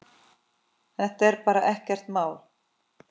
Þetta var bara ekkert mál.